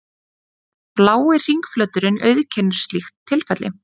Blái hringflöturinn auðkennir slíkt tilfelli.